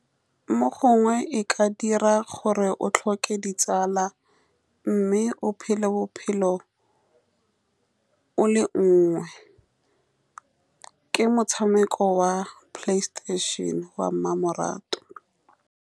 Mo gongwe e ka dira gore o tlhoke ditsala, mme o phele bophelo o le nngwe. Ke motshameko wa Playstation-e wa mmamoratwa.